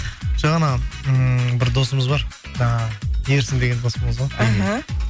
жоқ анау ммм бір досымыз бар жаңағы ерсін деген досымыз ғой іхі